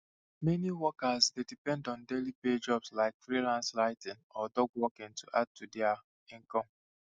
meni workers dey depend on daily pay jobs like freelance writing or dog walking to add to dia income